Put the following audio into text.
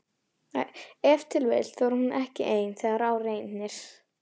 Ef til vill þorir hún ekki ein þegar á reynir?